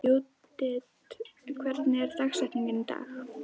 Judith, hver er dagsetningin í dag?